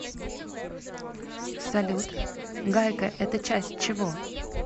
салют гайка это часть чего